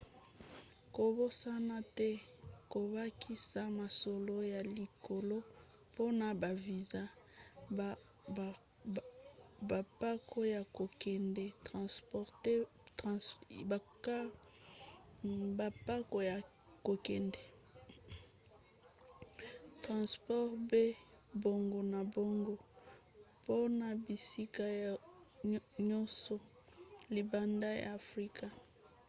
kobosana te kobakisa mosolo ya likolo mpona ba viza bampako ya kokende transport pe bongo na bongo mpona bisika yonso libanda ya afrika